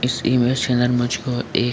इस इमेज के अंदर मुझको एक --